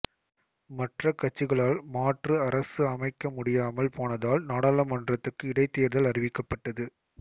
மற்ற கட்சிகளால் மாற்று அரசு அமைக்க முடியாமல் போனதால் நாடாளுமன்றத்துக்கு இடைத்தேர்தல் அறிவிக்கப்பட்டது